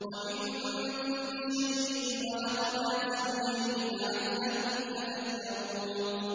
وَمِن كُلِّ شَيْءٍ خَلَقْنَا زَوْجَيْنِ لَعَلَّكُمْ تَذَكَّرُونَ